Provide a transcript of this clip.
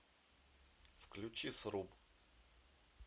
включи сруб